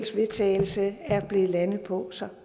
vedtagelse er blevet landet på så